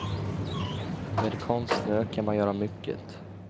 Med konstsnö kan man göra mycket.